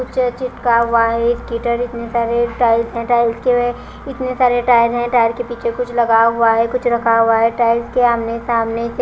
कुछ चिपका हुआ है इतने सारे टाइल्स हैं टाइल्स के इतने सारे टाइल हैं टाइल के पीछे कुछ लगा हुआ है कुछ रखा हुआ है टाइल्स के आमने सामने से--